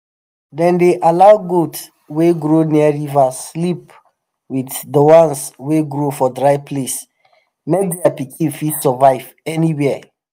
dem dey allow goat wey grow near river sleep with the ones wey grow for dry place make their pikin fit survive anywhere